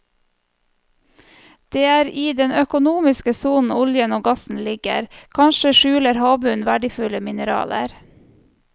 Det er i den økonomiske sonen oljen og gassen ligger, kanskje skjuler havbunnen verdifulle mineraler.